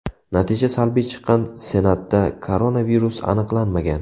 Natija salbiy chiqqan Senatda koronavirus aniqlanmagan.